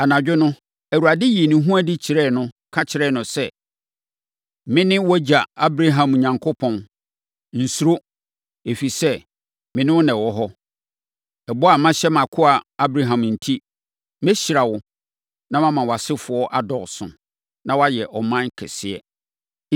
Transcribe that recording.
Anadwo no, Awurade yii ne ho adi kyerɛɛ no, ka kyerɛɛ no sɛ, “Mene wʼagya, Abraham Onyankopɔn. Nsuro, ɛfiri sɛ, me ne wo na ɛwɔ hɔ. Ɛbɔ a mahyɛ mʼakoa Abraham enti, mɛhyira wo, na mama wʼasefoɔ adɔɔso, na wɔayɛ ɔman kɛseɛ.”